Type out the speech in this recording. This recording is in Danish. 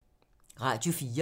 Radio 4